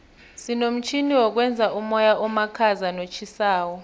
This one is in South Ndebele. sinomtjhini wokwenza umoya omakhaza notjhisako